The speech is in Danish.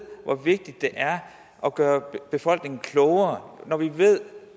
hvor vigtigt det er at gøre befolkningen klogere når vi ved